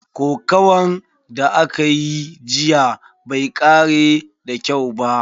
Kokuwan da akayi jiya bai kare da kyau ba.